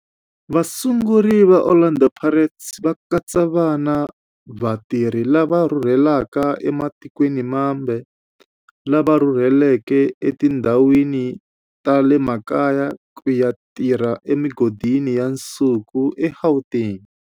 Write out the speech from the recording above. Vasunguri va Orlando Pirates va katsa vana va vatirhi lava rhurhelaka ematikweni mambe lava rhurheleke etindhawini ta le makaya ku ya tirha emigodini ya nsuku eGauteng.